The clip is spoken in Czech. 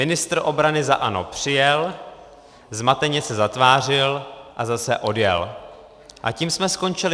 Ministr obrany za ANO přijel, zmateně se zatvářil a zase odjel a tím jsme skončili.